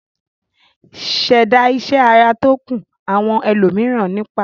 ṣẹ̀dá iṣẹ́ ara tó kún àwọn ẹlòmíràn nípá